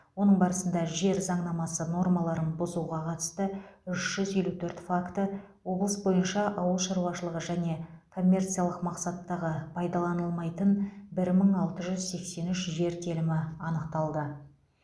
оның барысында жер заңнамасы нормаларын бұзуға қатысты үш жүз елу төрт факті облыс бойынша ауыл шаруашылығы және коммерциялық мақсаттағы пайдаланылмайтын бір мың алты жүз сексен үш жер телімі анықталды